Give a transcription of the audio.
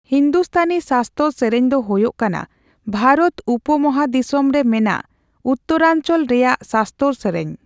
ᱦᱤᱱᱫᱩᱥᱛᱷᱟᱱᱤ ᱥᱟᱥᱛᱚᱨ ᱥᱮᱨᱮᱧ ᱫᱚ ᱦᱳᱭᱳᱜ ᱠᱟᱱᱟ ᱵᱷᱟᱨᱚᱛ ᱩᱯᱚᱢᱚᱦᱟᱫᱤᱥᱚᱢ ᱨᱮ ᱢᱮᱱᱟᱜ ᱩᱛᱛᱚᱨᱟᱧᱪᱚᱞ ᱨᱮᱭᱟᱜ ᱥᱟᱥᱛᱚᱨ ᱥᱮᱨᱮᱧ ᱾